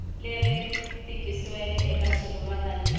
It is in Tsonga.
leri tikisiweke eka xivulwa lexi